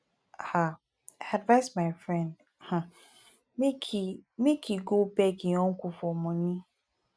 um i advice my friend um make he make he go beg im uncle for money